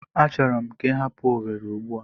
Achọrọ m ka ị hapụ Owere Ugbua!